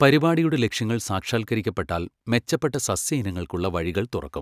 പരിപാടിയുടെ ലക്ഷ്യങ്ങൾ സാക്ഷാൽകരിക്കപ്പെട്ടാൽ മെച്ചപ്പെട്ട സസ്യ ഇനങ്ങൾക്കുള്ള വഴികൾ തുറക്കും.